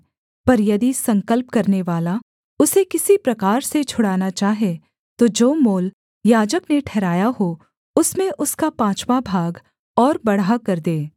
पर यदि संकल्प करनेवाला उसे किसी प्रकार से छुड़ाना चाहे तो जो मोल याजक ने ठहराया हो उसमें उसका पाँचवाँ भाग और बढ़ाकर दे